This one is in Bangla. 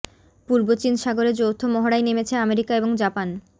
পূর্ব চীন সাগরে যৌথ মহড়ায় নেমেছে আমেরিকা এবং জাপান